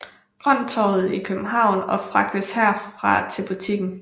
Grønttorvet i København og fragtes herfra til butikken